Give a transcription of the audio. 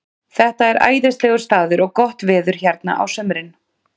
Þetta er æðislegur staður og gott veður hérna á sumrin.